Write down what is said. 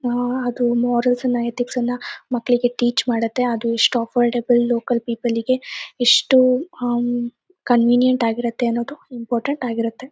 ಆಹ್ಹ್ ಅದು ಮೋರಲ್ಸ್ ನ್ನ ಎಥಿಕ್ಸ್ ನ್ನ ಮಕ್ಕಳಿಗೆ ಟೀಚ್ ಮಾಡುತ್ತೆ. ಅದು ಎಷ್ಟು ಅಫೋರ್ಡೆಬಲ್ ಲೋಕಲ್ ಪೀಪಲ್ ಗೆ ಎಷ್ಟು ಅಹ್ಮ್ಮ್ ಕನ್ವಿನ್ಯಂಟ್ ಆಗಿರತ್ತೆ ಅನ್ನೋದು ಇಂಪಟೆಂಟ್ ಆಗಿರುತ್ತೆ.